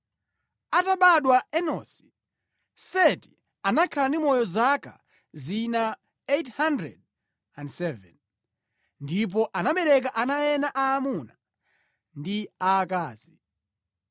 Atabadwa Enosi, Seti anakhala ndi moyo zaka zina 807 ndipo anabereka ana ena aamuna ndi aakazi.